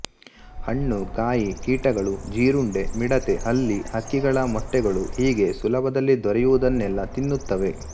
ಹಣ್ಣು ಕಾಯಿ ಕೀಟಗಳು ಜೀರುಂಡೆ ಮಿಡತೆ ಹಲ್ಲಿ ಹಕ್ಕಿಗಳ ಮೊಟ್ಟೆಗಳು ಹೀಗೆ ಸುಲಭದಲ್ಲಿ ದೊರೆಯುವುದನ್ನೆಲ್ಲಾ ತಿನ್ನುತ್ತವೆ